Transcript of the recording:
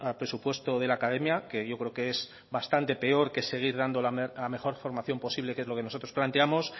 presupuesto de la academia que yo creo que es bastante peor que seguir dando la mejor formación posible que es lo que nosotros planteamos